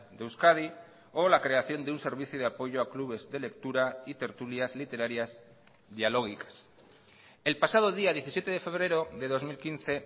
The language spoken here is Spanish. de euskadi o la creación de un servicio de apoyo a clubes de lectura y tertulias literarias dialógicas el pasado día diecisiete de febrero de dos mil quince